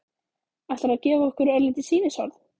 Ætlar þú að gefa okkur örlítið sýnishorn?